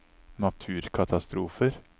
naturkatastrofer